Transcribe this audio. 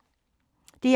DR2